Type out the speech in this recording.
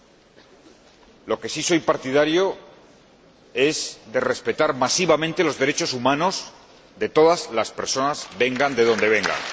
De lo que yo soy partidario es de respetar masivamente los derechos humanos de todas las personas, vengan de donde vengan.